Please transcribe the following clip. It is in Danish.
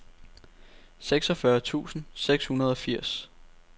seksogfyrre tusind seks hundrede og toogfirs